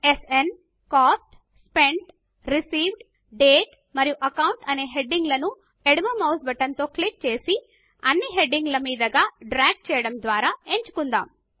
స్న్ cost spent received date మరియు account అనే heading లను ఎడమ మౌస్ బటన్ తో క్లిక్ చేసి అన్ని హెడింగ్ ల మీదగా డ్రాగ్ చేయడము ద్వారా ఎంచుకుందాము